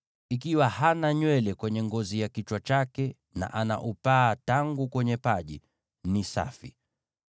Ikiwa hana nywele kwenye ngozi ya kichwa chake, na ana upaa tangu kwenye paji, ni safi.